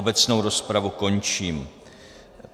Obecnou rozpravu končím.